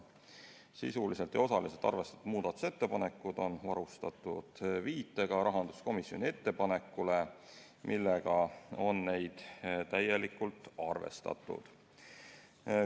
Sisuliselt ja osaliselt arvestatud muudatusettepanekud on varustatud viitega rahanduskomisjoni ettepanekule, millega on neid täielikult arvestatud.